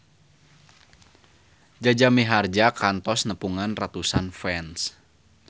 Jaja Mihardja kantos nepungan ratusan fans